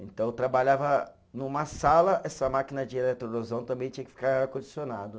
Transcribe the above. Então eu trabalhava numa sala, essa máquina de eletroerosão também tinha que ficar ar-condicionado.